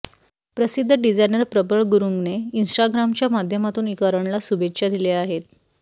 प्रसिद्ध डिझायनर प्रबळ गुरूंगने इन्स्टाग्रामच्या माध्यमातून करणला शुभेच्छा दिल्या आहेत